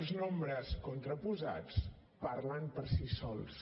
els nombres contraposats parlen per si sols